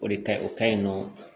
O de kaɲi o kaɲi nɔ